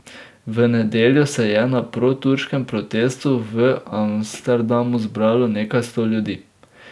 V nedeljo se je na proturškem protestu v Amsterdamu zbralo nekaj sto ljudi.